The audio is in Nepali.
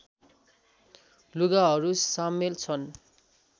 लुगाहरू सामेल छन्